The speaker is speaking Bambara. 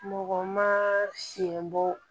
Mɔgɔ ma sen bɔ